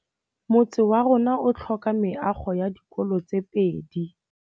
Motse warona o tlhoka meago ya dikolô tse pedi.